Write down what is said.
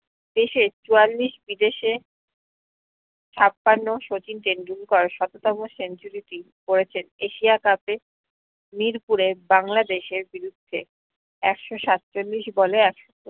দেশে চুয়ালিশ বিদেশে ছাপান্ন শচীন টেন্ডুলকার সপতম century টি করেছেন এশিয়া cup এ নিরপুরের বাংলাদেশের বিরুদ্ধে একশ সাতচল্লিশ ball এ একশ